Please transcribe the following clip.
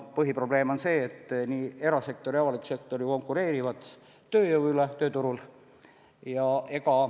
Põhiprobleem on see, et erasektor ja avalik sektor konkureerivad tööjõu pärast tööturul.